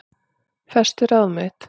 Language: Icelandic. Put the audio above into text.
Festi ráð mitt